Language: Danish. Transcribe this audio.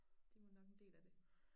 Det vel nok en del af det